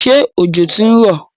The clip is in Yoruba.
Ṣé òjò ti ń rọ̀?